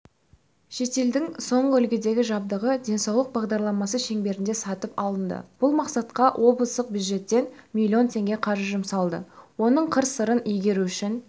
шетелдің соңғы үлгідегі жабдығы денсаулық бағдарламасы шеңберінде сатып алынды бұл мақсатқа облыстық бюджеттен миллион теңге қаржы жұмсалды оның қыр-сырын игеру үшін